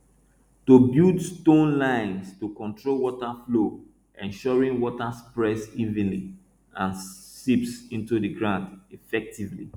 to build stone lines to control water flow ensuring water spreads evenly and seeps into the ground effectively